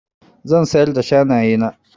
Zan siyar da shanaye na.